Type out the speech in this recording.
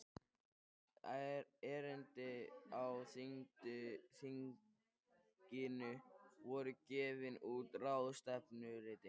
Erindi á þinginu voru gefin út í ráðstefnuriti.